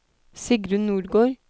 Sigrun Nordgård